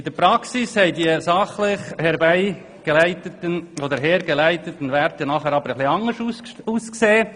In der Praxis haben diese sogenannten «fachlich sauber hergeleiteten» Werte aber etwas anders ausgesehen.